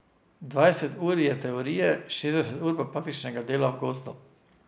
Dvajset ur je teorije, šestdeset ur pa praktičnega dela v gozdu.